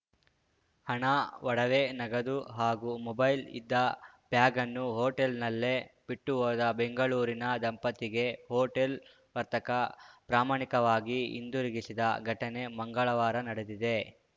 ಹಣ ಒಡವೆ ನಗದು ಹಾಗೂ ಮೊಬೈಲ್‌ ಇದ್ದ ಬ್ಯಾಗನ್ನು ಹೋಟೆಲ್‌ನಲ್ಲೇ ಬಿಟ್ಟುಹೋದ ಬೆಂಗಳೂರಿನ ದಂಪತಿಗೆ ಹೋಟೆಲ್‌ ವರ್ತಕ ಪ್ರಾಮಾಣಿಕವಾಗಿ ಹಿಂದಿರುಗಿಸಿದ ಘಟನೆ ಮಂಗಳವಾರ ನಡೆದಿದೆ